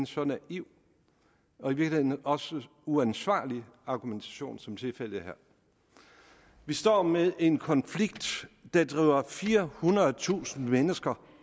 så naiv og i virkeligheden også uansvarlig argumentation som tilfældet er her vi står med en konflikt der driver firehundredetusind mennesker